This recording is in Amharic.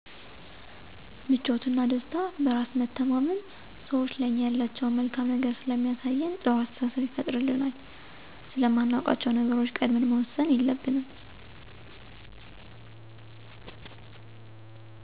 ምቾትና፣ ደስታ፣ በራስ መተማመን፣ ሰዎቹ ለኛ ያላቸውን መልካም ነገር ስለሚያሳየን ጥሩ አስተሳሰብ ይፈጥሩልናል፤ ስለማናውቃቸዉ ነገሮች ቀድመን መወሰን የለብንም